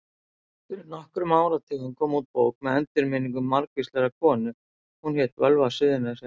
Fyrir nokkrum áratugum kom út bók með endurminningum margvísrar konu og hét hún Völva Suðurnesja.